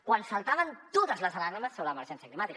quan saltaven totes les alarmes sobre l’emergència climàtica